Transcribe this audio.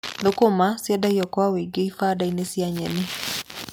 Thũkũma nĩciendagio kwa ũingĩ ibanda-inĩ cia nyeni.